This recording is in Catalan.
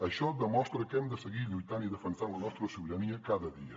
això demostra que hem de seguir lluitant i defensant la nostra sobirania cada dia